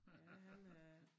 Ja han øh